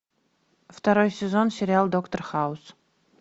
второй сезон сериал доктор хаус